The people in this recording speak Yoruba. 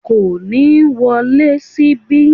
Kò ni wọlé síbí yìí